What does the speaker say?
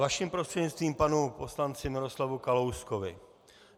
Vaším prostřednictvím panu poslanci Miroslavu Kalouskovi.